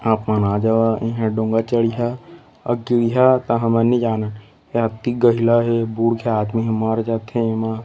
आप मन आजाव इहाँ डोंगा चड़िहा अऊ दूरिहा कहा जानन अति गहला हे बुड़ के आदमी ह मर जाथे एमा--